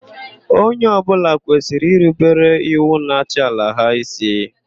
Onye ọbụla kwesịrị irubere iwu na-achị ala ha ísí.